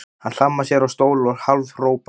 Hann hlammar sér á stól og hálfhrópar